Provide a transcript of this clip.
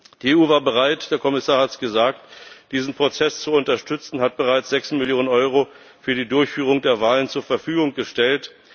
Die EU war bereit der Kommissar hat es gesagt diesen Prozess zu unterstützen, und hat bereits sechs Millionen Euro für die Durchführung der Wahlen zur Verfügung gestellt.